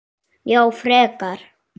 Já, frekar.